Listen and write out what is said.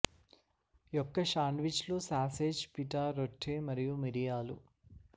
యొక్క శాండ్విచ్లు sausage pita రొట్టె మరియు మిరియాలు